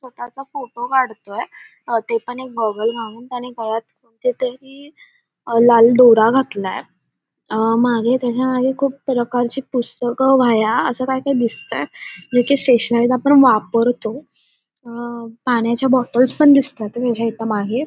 त्याचा फोटो काढतोय ते पण एक गॉगल घालून आणि गळ्यात कोणते तरी लाल दोरा घातलाय अ मागे त्याना मागे खूप प्रकारचे पुस्तके वह्या अस काय तरी दिसतय जे की स्टेशनरी आपण वापरतो अ पाण्याच्या बॉटल्स पण दिसतायत त्याच्यामागे --